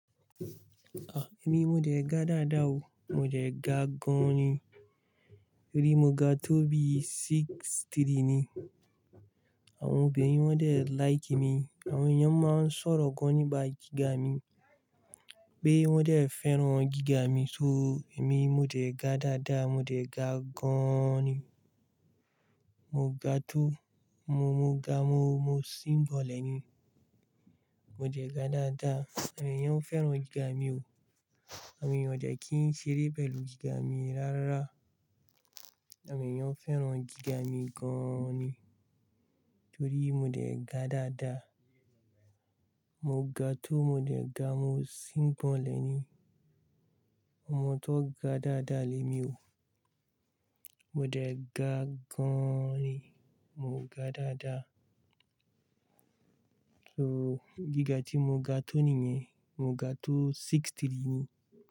Ah! Èmi mo dẹ̀ ga dáadáa o. Mo dẹ̀ ga gan-an ni. Torí mo ga tó bí six three ni. Àwọn obìnrin wọ́n dẹ̀ like mi. Àwọn èèyàn máa ń sọ̀rọ̀ gan nípa gíga mi. Pé wọ́n dẹ̀ fẹ́ràn gíga mi. So, èmi mo dẹ̀ ga dáadáa, mo jẹ̀ ga gan-an ni. Mo ga tó, mo, mo ga, mo, mo sígbonlẹ̀ ni. Mo dẹ̀ ga dáadáa, àwọn èèyàn fẹ́ràn gíga mi o. Àwọn èèyàn kò dẹ̀ kí n ṣeré bẹ̀lú gíga mi rárá. Àwọn èèyàn fẹ́ràn gíga mi gan-an ni. Torí mo jẹ̀ ga dáadáa. Mo ga tó, mo jẹ̀ ga, mo síbọ̀lẹ̀ ni. Omo tó ga dáadáa lémi o. Mo jẹ̀ ga gan-an ni. Mo ga dáadáa. So, gíga tí mo ga tó nìyẹn, mo ga tó six three ni.